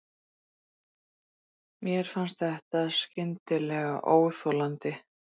Mér fannst þetta skyndilega óþolandi.